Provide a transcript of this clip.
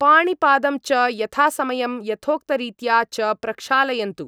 पाणिपादं च यथासमयं यथोक्तरित्या च प्रक्षालयन्तु।